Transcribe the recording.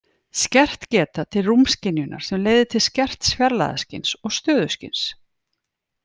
Skert geta til rúmskynjunar sem leiðir til skerts fjarlægðarskyns og stöðuskyns.